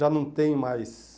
Já não tem mais...